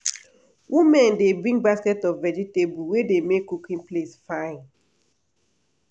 women dey bring basket of vegetable wey dey make cooking place fine.